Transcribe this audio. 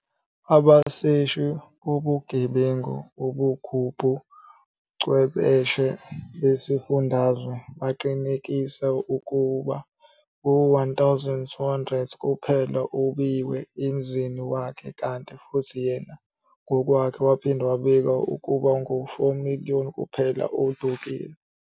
Abaseshi bobugebengu obungubu chwepheshe besifundazwe baqinisekisa ukuba ngu R1,200 kuphela owebiwa emzini wakhe kanti futhi yena ngokwakhe, waphinde wabika ukuba ngu R4-million kuphela odukile.